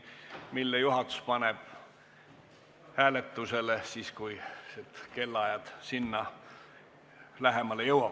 Selle ettepaneku paneb juhatus hääletusele siis, kui see aeg lähemale jõuab.